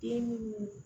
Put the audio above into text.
Den munnu